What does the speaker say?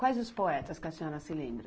Quais os poetas que a senhora se lembra?